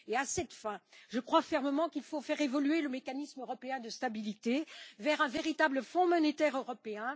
À cette fin, je crois fermement qu'il faut faire évoluer le mécanisme européen de stabilité vers un véritable fonds monétaire européen.